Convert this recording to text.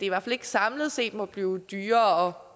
i hvert fald ikke samlet set må blive dyrere